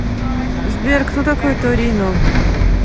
сбер кто такой торино